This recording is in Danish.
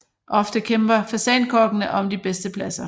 Ofte kæmper fasankokkene om de bedste pladser